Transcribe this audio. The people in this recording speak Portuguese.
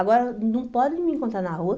Agora não podem me encontrar na rua.